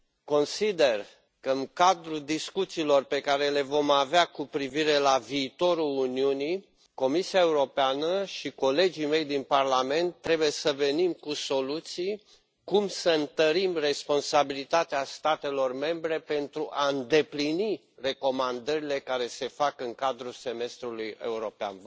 Consider că în cadrul discuțiilor pe care le vom avea cu privire la viitorul Uniunii, Comisia Europeană și colegii mei din parlament trebuie să venim cu soluții cum să întărim responsabilitatea statelor membre pentru a îndeplini recomandările care se fac în cadrul semestrului european.